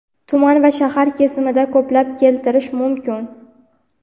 tuman va shahar kesimida ko‘plab keltirish mumkin.